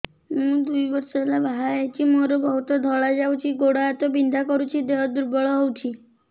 ମୁ ଦୁଇ ବର୍ଷ ହେଲା ବାହା ହେଇଛି ମୋର ବହୁତ ଧଳା ଯାଉଛି ଗୋଡ଼ ହାତ ବିନ୍ଧା କରୁଛି ଦେହ ଦୁର୍ବଳ ହଉଛି